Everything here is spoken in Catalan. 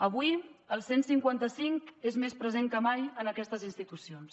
avui el cent i cinquanta cinc és més present que mai en aquestes institucions